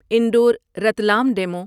Indore Ratlam demo